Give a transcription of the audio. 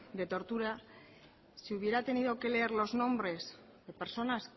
de tortura si hubiera tenido que leer los nombres de personas